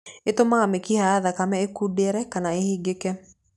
Ìtũmaga mĩkiha ya thakame ĩkundere kana ĩhingĩke.